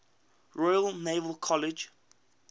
royal naval college